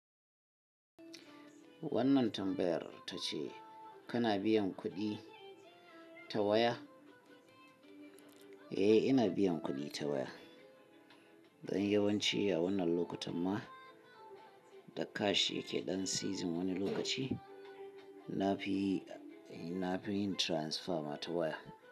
Wannan tambayar ta ce kana biyan kuɗi ta waya? Eh ina biyan kuɗi ta waya. Don yawanci a wannan lokutan ma da cash yake ɗan season wani lokaci nafi yin transfer ma ta waya.